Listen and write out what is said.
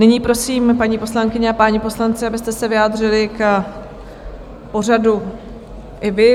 Nyní prosím, paní poslankyně a páni poslanci, abyste se vyjádřili k pořadu i vy.